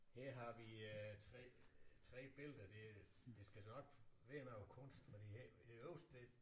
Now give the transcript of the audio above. Her har vi øh 3 3 billeder det det skal nok være noget kunst for det ikke det øverste det